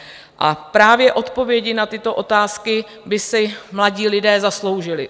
A právě odpovědi na tyto otázky by si mladí lidé zasloužili.